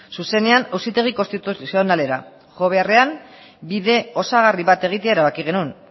zuzenean auzitegi konstituzionalera jo beharrean bide osagarri bat egitea erabaki genuen